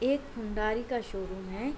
एक हुंडारी का शोरूम है।